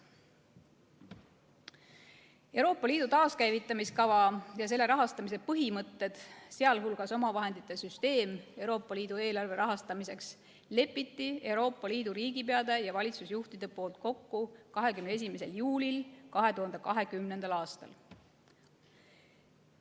Euroopa Liidu taaskäivitamiskava ja selle rahastamise põhimõtted, sh omavahendite süsteemi Euroopa Liidu eelarve rahastamiseks, leppisid Euroopa Liidu riigipead ja valitsusjuhid kokku 21. juulil 2020. aastal.